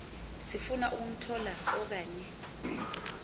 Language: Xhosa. sifuna ukumthoba okanye